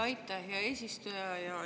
Aitäh, hea eesistuja!